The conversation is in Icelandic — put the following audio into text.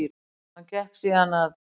Hann gekk síðan að